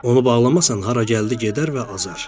Onu bağlamasan hara gəldi gedər və azar.